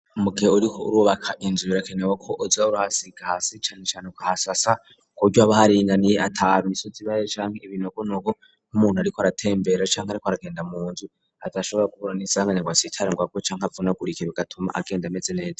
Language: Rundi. Mu gihe uriko urubaka inzu birakenerwa ko uza urahasiga hasi cane cane ukahasasa ku buryo haba haringaniye ata misozi ibayo canke ibinogogo nk'umuntu ariko aratembera canke ariko aragenda munzu adashobora guhura n'isanganya ngo atsitare ngwarwe canke avunagurike bigatuma egenda ameze neza.